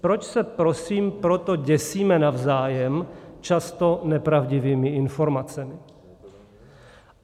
Proč se prosím proto děsíme navzájem často nepravdivými informacemi?